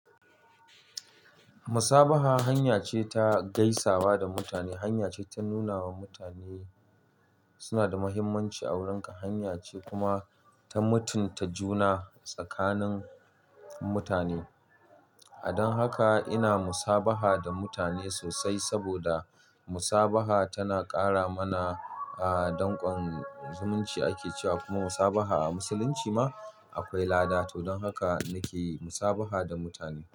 Musabaha hanya ce ta gaisawa da mutane, hanya ce ta nuna wa mutane suna da muhimmanci a wurinka, hanya ce kuma ta mutunta juna tsakanin mutane. Don haka ina musabaha da mutane sosai saboda musabaha tana ƙara mana, aa, danƙon zumunci ake cewa kuma musabaha a musulunci ma akwai lada. To don haka nake musabaha da mutane.